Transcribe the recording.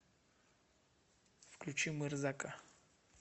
включи мырзака